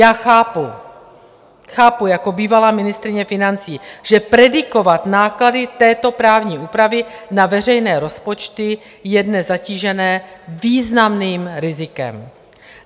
Já chápu, chápu jako bývalá ministryně financí, že predikovat náklady této právní úpravy na veřejné rozpočty je dnes zatíženo významným rizikem.